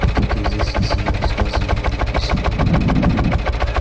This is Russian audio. кто-то известен своими рассказами или письмами